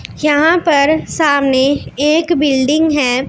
यहां पर सामने एक बिल्डिंग है।